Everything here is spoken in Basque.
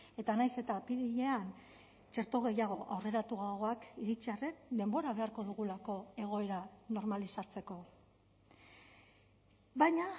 eta nahiz eta apirilean txerto gehiago aurreratuagoak iritsi arren denbora beharko dugulako egoera normalizatzeko baina